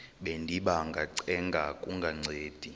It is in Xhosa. bendiba ngacenga kungancedi